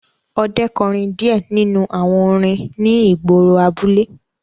Ọdẹ kọrin diẹ ninu awọn orin ni igboro abule